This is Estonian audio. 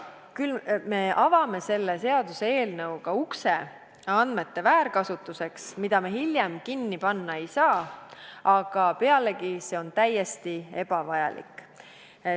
Küll aga avame selle seaduseelnõuga ukse andmete väärkasutuseks, mida me hiljem kinni panna ei saa, pealegi on see täiesti ebavajalik.